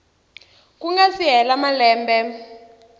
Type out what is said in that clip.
ku nga si hela malembe